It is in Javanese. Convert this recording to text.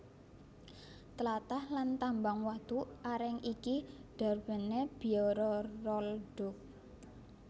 Tlatah lan tambang watu areng iki darbèné Biara Rolduc